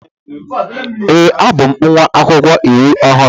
Ee, abụ m nwa akwụkwọ iwu ọhụrụ.